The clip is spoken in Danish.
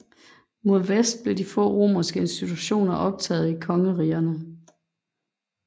Mod vest blev de få romerske institutioner optaget i kongerigerne